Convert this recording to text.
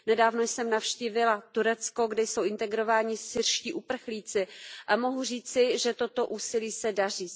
Nedávno jsem navštívila Turecko, kde jsou integrováni syrští uprchlíci, a mohu říci, že toto úsilí se daří.